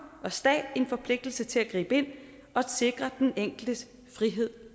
og stat en forpligtelse til at gribe ind og sikre den enkeltes frihed